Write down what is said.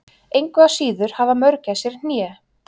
engu að síður hafa mörgæsir hné